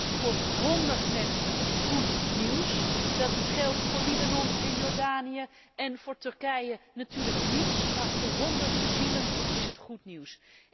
Dat is voor honderd mensen goed nieuws. Dat geldt voor Libanon en Jordanië en voor Turkije natuurlijk niet, maar voor honderd zielen is het goed nieuws.